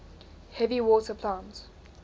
heavy water plant